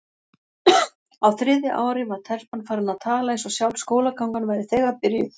Á þriðja ári var telpan farin að tala eins og sjálf skólagangan væri þegar byrjuð.